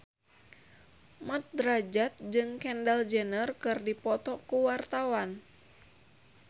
Mat Drajat jeung Kendall Jenner keur dipoto ku wartawan